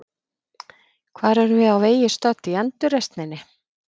Hvar erum við á vegi stödd í endurreisninni?